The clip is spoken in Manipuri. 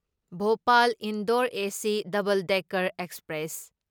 Bhopal Indore AC double decker express